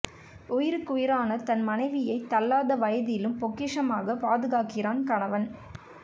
உயிருக்கு உயிரான தன் மனைவியை தள்ளாத வயதிலும் பொக்கிசமாகக் பாதுகாக்கிறான் கணவன்